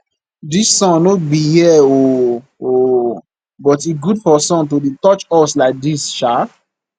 dis sun no be here oo oo but e good for sun to dey touch us like dis sha